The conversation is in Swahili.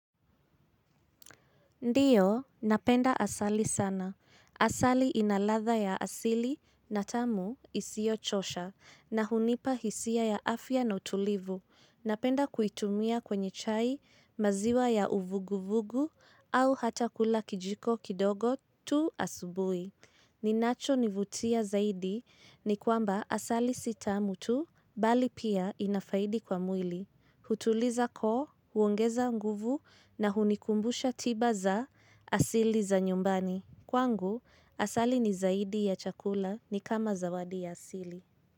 Ndiyo, napenda asali sana. Asali ina ladha ya asili na tamu isiyochosha na hunipa hisia ya afya na utulivu. Napenda kuitumia kwenye chai maziwa ya uvuguvugu au hata kula kijiko kidogo tu asubuhi. Kinachonivutia zaidi ni kwamba asali si tamu tu bali pia ina faida kwa mwili. Hutuliza koo, huongeza nguvu na hunikumbusha tiba za asili za nyumbani. Kwangu, asali ni zaidi ya chakula ni kama zawadi ya asili.